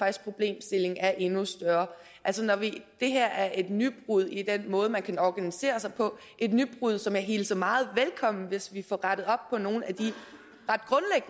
at problemstillingen er endnu større det her er et nybrud i den måde man kan organisere sig på et nybrud som jeg hilser meget velkommen hvis vi får rettet op på nogle af